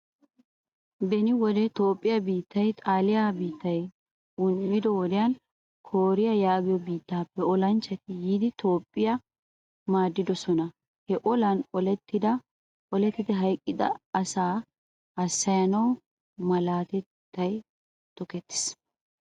Beni wode toophpiyaa biittay xaaliyaa biittay un'ido wodiayn kooriyaa yaagiyo biittappe ollanchchati yiidi toophphiyo maadidosona. He ollan ollettidi hayqqida asaa hassayanawu malaataay tokkettiis.